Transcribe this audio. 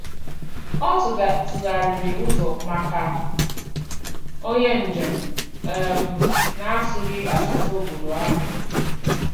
Ọ tụgharịrị ụzọ maka onye njem um na-asụghị asụsụ obodo ahụ.